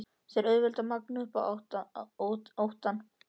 Það er auðvelt að magna upp óttann.